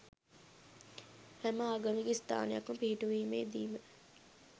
හැම ආගමික ස්ථානයක්ම පිහිටුවීමේ දීම